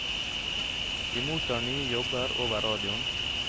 Vi mottar nye jobber over radioen.